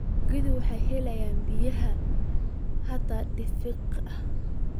Dalagyada waxaa waxyeeleeya biyaha xad dhaafka ah.